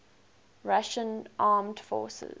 russian armed forces